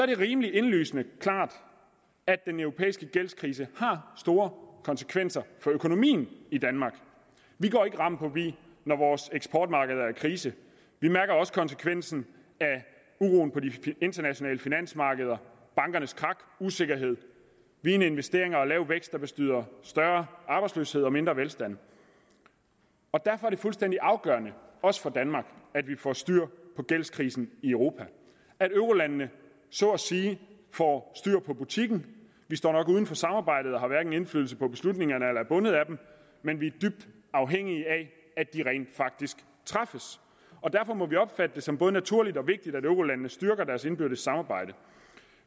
det rimeligt indlysende og klart at den europæiske gældskrise har store konsekvenser for økonomien i danmark vi går ikke ram forbi når vores eksportmarkeder er i krise vi mærker også konsekvensen af uroen på de internationale finansmarkeder bankernes krak usikkerhed vigende investeringer og lav vækst der betyder større arbejdsløshed og mindre velstand og derfor er det fuldstændig afgørende også for danmark at vi får styr på gældskrisen i europa at eurolandene så at sige får styr på butikken vi står nok uden for samarbejdet og har hverken indflydelse på beslutningerne eller er bundet af dem men vi er dybt afhængige af at de rent faktisk træffes og derfor må vi opfatte det som både naturligt og vigtigt at eurolandene styrker deres indbyrdes samarbejde